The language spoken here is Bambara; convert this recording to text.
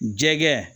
Jɛgɛ